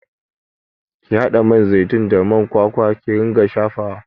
Ki haɗa man zaitun da man kwakwa ki ringa shafawa!